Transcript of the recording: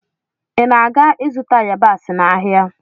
ị na aga-izụta yabasị n'ahịa?